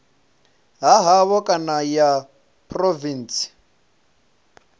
ha havho kana ya phurovintsi